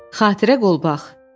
Xatirə qolbaq.